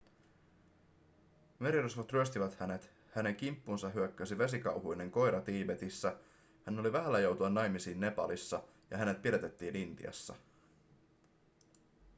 merirosvot ryöstivät hänet hänen kimppuunsa hyökkäsi vesikauhuinen koira tiibetissä hän oli vähällä joutua naimisiin nepalissa ja hänet pidätettiin intiassa